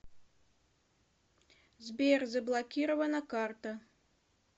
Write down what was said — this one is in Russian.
сбер заблокирована карта